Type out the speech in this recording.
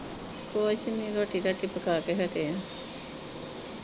ਕੁਸ ਨੀ ਰੋਟੀ ਰਾਟੀ ਪਕਾ ਕੇ ਹਟੇ ਆ।